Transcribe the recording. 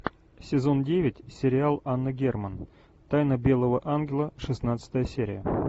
сезон девять сериал анна герман тайна белого ангела шестнадцатая серия